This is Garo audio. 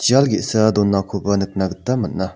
jial ge·sa donakoba nikna gita man·a.